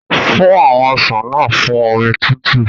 Fún àwọn ọsàn náà fún omi tútù.